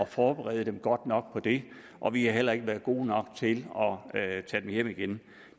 forberede dem godt nok på det og vi har heller ikke været gode nok til at tage dem hjem igen